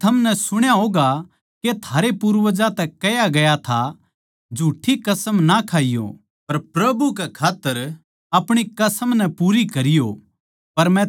फेर थमनै सुण्या होगा के थारे पूर्वजां तै कह्या गया था झूठ्ठी कसम ना खाइये पर प्रभु के खात्तर अपणी कसम नै पूरी करिये